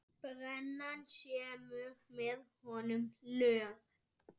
Brennan semur með honum lög.